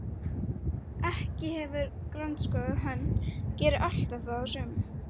Sá sem ekki hefur grandskoðað hönd gerir alltaf þá sömu.